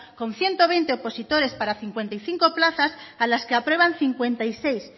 con ciento veinte opositores para cincuenta y cinco plazas a las que aprueban cincuenta y seis